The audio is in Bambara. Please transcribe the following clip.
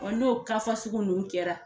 Ɔɔ n'o ka nunnu kɛra